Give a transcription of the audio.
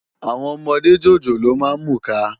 Áwòn òmòdé jójóló má n múká